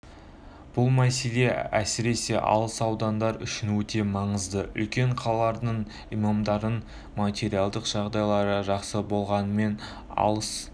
бұл мәселе әсіресе алыс ауылдар үшін өте маңызды үлкен қалалардың имамдардың материалдық жағдайлары жақсы болғанымен алыс